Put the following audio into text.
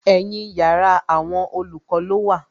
Ẹ̀yin yàrá àwọn olùkọ́ ló wà